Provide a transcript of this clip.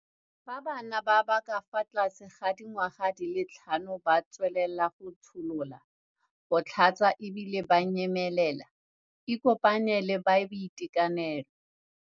Fa bana ba ba ka fa tlase ga dingwaga di le tlhano ba tsweletse go tsholola, go tlhatsa e bile ba nyemelela, ikopanye le ba boitekanelo.